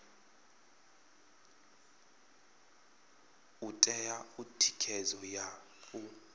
u ṋea thikhedzo ya u